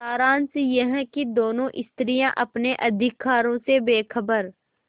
सारांश यह कि दोनों स्त्रियॉँ अपने अधिकारों से बेखबर